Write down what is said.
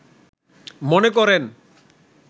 মনে করেন